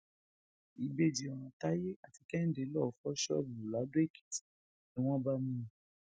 ìbejì ọràn táyé àti kèhìndé lóò fọ ṣọọbù ladọèkìtì ni wọn bá mú wọn